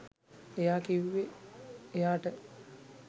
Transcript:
එයා කිව්වේ එයාට